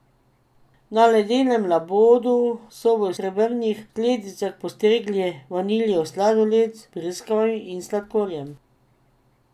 Na ledenem labodu so v srebrnih skledicah postregli vaniljev sladoled z breskvami in sladkorjem.